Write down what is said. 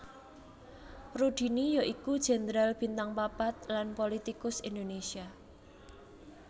Rudini ya iku jenderal bintang papat lan pulitikus Indonésia